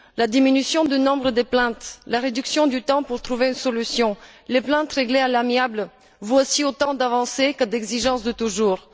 La diminution du nombre de plaintes, la réduction du temps pour trouver une solution, les plaintes réglées à l'amiable, voici autant d'avancées que d'exigences de toujours.